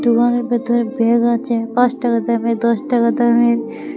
দোকানের ভিতরে ব্যাগ আছে পাঁচ টাকা দামের দশ টাকা দামের।